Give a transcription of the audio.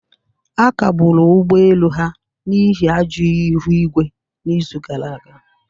A kagburu ụgbọ elu ha n'ihi ajọ ihu igwe n'izu gara aga